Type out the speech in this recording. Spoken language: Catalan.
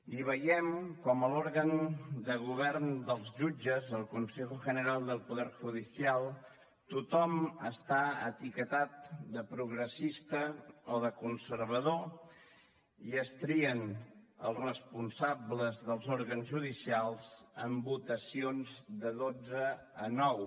i veiem com l’òrgan de govern dels jutges el consejo general del poder judicial tothom està etiquetat de progressista o de conservador i es trien els responsables dels òrgans judicials en votacions de dotze a nou